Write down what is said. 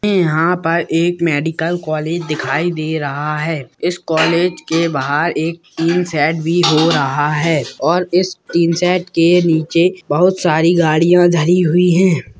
यहां पर एक मेडिकल कॉलेज दिखाई दे रहा है इस कॉलेज के बाहर एक टीन सेट भी हो रहे है और इस टीन सेट के नीचे बहुत सारी गाड़ियां धरी हुई है।